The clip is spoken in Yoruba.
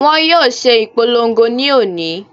Wọ́n yóò ṣe ìpolongo lónìí.